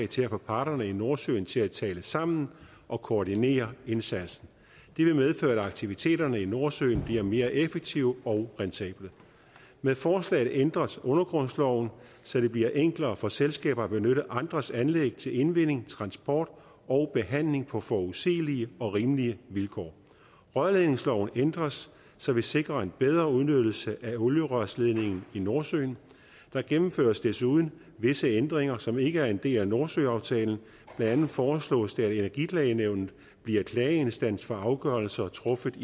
til at få parterne i nordsøen til at tale sammen og koordinere indsatsen det vil medføre at aktiviteterne i nordsøen bliver mere effektive og rentable med forslaget ændres undergrundsloven så det bliver enklere for selskaber at benytte andres anlæg til indvinding transport og behandling på forudsigelige og rimelige vilkår rørledningsloven ændres så vi sikrer en bedre udnyttelse af olierørsledningen i nordsøen der gennemføres desuden visse ændringer som ikke er en del af nordsøaftalen blandt andet foreslås det at energiklagenævnet bliver klageinstans for afgørelser truffet